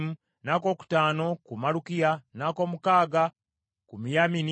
n’akookutaano ku Malukiya, n’ak’omukaaga ku Miyamini,